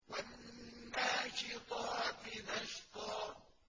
وَالنَّاشِطَاتِ نَشْطًا